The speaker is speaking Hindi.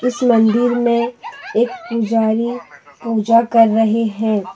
इस मंदिर में एक पुजारी पूजा कर रहे हैं।